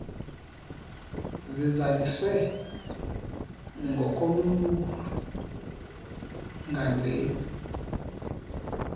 sizaliswe ngokoluluhlu ngandleni